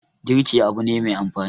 girki Abu na Mai amfani